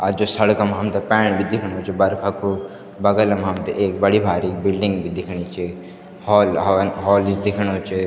और जू सड़क म हमथे पाणी भी दिख्णु च बरखा कु बगल म् हमथे एक बड़ी भारिक बिल्डिंग भी दिखणी च हॉल हान हॉल इस दिख्णु च।